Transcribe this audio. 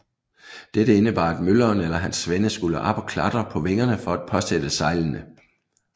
Dette indebar at mølleren eller hans svende skulle op at klatre på vingerne for at påsætte sejlene